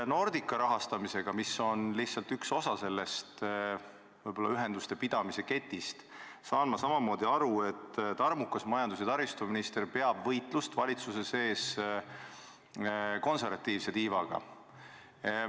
Nordica rahastamisel, mis on lihtsalt üks osa sellest ühenduste pidamise ketist, ma saan nii aru, peab tarmukas majandus- ja taristuminister valitsuse sees võitlust konservatiivse tiivaga.